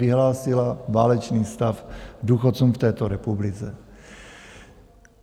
Vyhlásila válečný stav důchodcům v této republice.